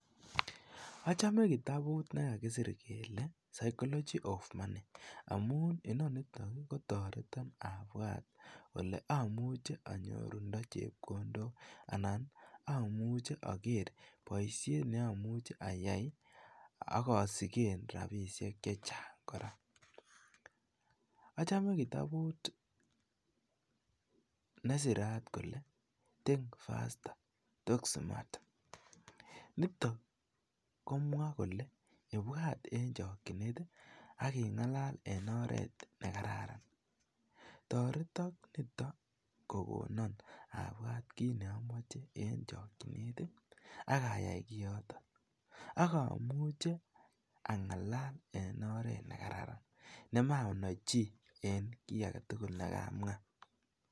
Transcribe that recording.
Ochome kitabut nekakisir kele sychology of money amun ininiton kotoreton abwat ole omuche onyorundo chepkondok anan omuche oker boishet ne omuche ayai ak osiken rabishek che chang koraa. ochome kitabut nesirat kole think faster toximath niton komwaa kole ibwat en chokinet ak ingalal en oret nekararan toreton niton kokonon abwat kiit ne omoche en chokinet ak ayai kiotok ak omuche angalal en oret nekararan nemanoch chii en kii agetukul nekamwaa